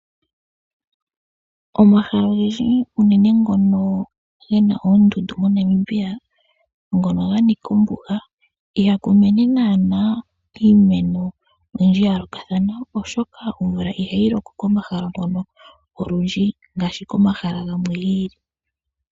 Omahala ogendji unene ngono ge na oondundu moNamibia ngono ganika ombuga ihaku mene naana iimeno oyindji ya yoolokathana, oshoka omvula ihayi loko ko komahala ngono olundji ngaashi komahala gamwe gi ili.